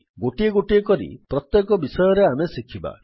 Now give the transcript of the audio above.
ଗୋଟିଏ ଗୋଟିଏ କରି ପ୍ରତ୍ୟେକ ବିଷୟରେ ଆମେ ଶିଖିବା